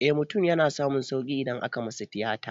Eh mutum yana samun sauƙi idan aka masa tiyata